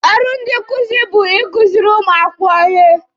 Ọrụ ndị nkuzi bụ ikuziri ụmụ akwụkwọ ihe.